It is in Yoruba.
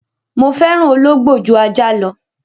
Mo fẹ́ràn ológbò ju ajá lọ.